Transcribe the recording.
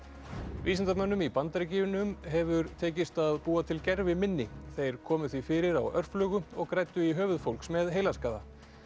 vísindamönnum í Bandaríkjunum hefur tekist að búa til gerviminni þeir komu því fyrir á og græddu í höfuð fólks með heilaskaða